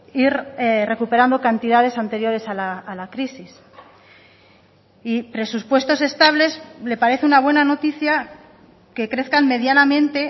ir recuperando cantidades anteriores a la crisis y presupuestos estables le parece una buena noticia que crezcan medianamente